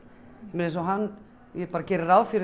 eins og hann ég geri ráð fyrir